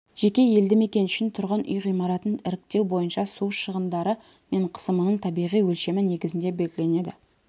жеке елді мекен үшін тұрғын үй ғимаратын іріктеу бойынша су шығындары мен қысымының табиғи өлшемі негізінде белгіленеді